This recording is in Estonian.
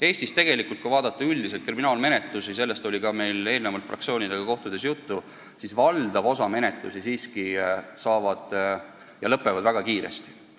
Mis puutub kriminaalmenetlustesse – sellest oli meil ka fraktsioonidega kohtudes juttu –, siis Eestis valdav osa menetlusi lõpeb väga kiiresti.